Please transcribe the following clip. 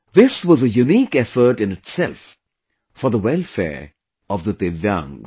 This was a unique effort in itself for the welfare of the divyangs